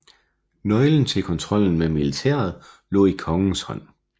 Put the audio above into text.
Nøglen til kontrollen med militæret lå i kongens hånd